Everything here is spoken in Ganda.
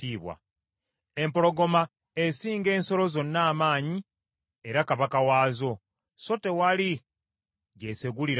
empologoma esinga ensolo zonna amaanyi era kabaka waazo, so tewali gy’esegulira yonna;